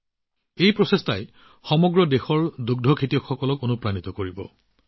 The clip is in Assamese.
তেওঁৰ এই প্ৰচেষ্টাই সমগ্ৰ দেশৰ দুগ্ধ পালকসকলক অনুপ্ৰাণিত কৰিছে